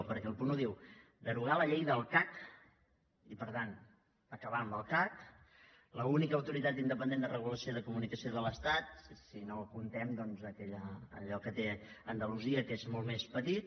perquè el punt un diu derogar la llei del cac i per tant acabar amb el cac l’única autoritat independent de regulació de comunicació de l’estat si no comptem doncs allò que té andalusia que és molt més petit